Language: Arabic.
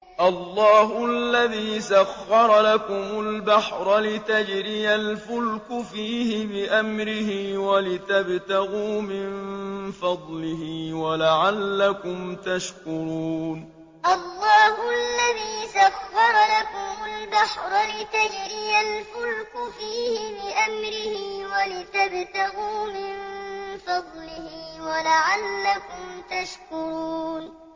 ۞ اللَّهُ الَّذِي سَخَّرَ لَكُمُ الْبَحْرَ لِتَجْرِيَ الْفُلْكُ فِيهِ بِأَمْرِهِ وَلِتَبْتَغُوا مِن فَضْلِهِ وَلَعَلَّكُمْ تَشْكُرُونَ ۞ اللَّهُ الَّذِي سَخَّرَ لَكُمُ الْبَحْرَ لِتَجْرِيَ الْفُلْكُ فِيهِ بِأَمْرِهِ وَلِتَبْتَغُوا مِن فَضْلِهِ وَلَعَلَّكُمْ تَشْكُرُونَ